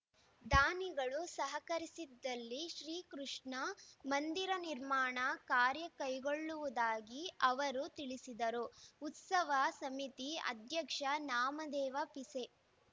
ದಾನಿಗಳು ಸಹಕರಿಸಿದಲ್ಲಿ ಶ್ರೀ ಕೃಷ್ಣ ಮಂದಿರ ನಿರ್ಮಾಣ ಕಾರ್ಯ ಕೈಗೊಳ್ಳುವುದಾಗಿ ಅವರು ತಿಳಿಸಿದರು ಉಸವ ಸಮಿತಿ ಅಧ್ಯಕ್ಷ ನಾಮದೇವ ಪಿಸೆ